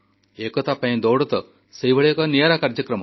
ଏକତା ପାଇଁ ଦୌଡ଼ ତ ସେହିଭଳି ଏକ ନିଆରା କାର୍ଯ୍ୟକ୍ରମ